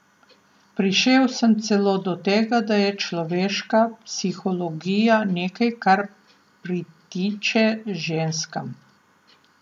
Prišel sem celo do tega, da je človeška psihologija nekaj, kar pritiče ženskam.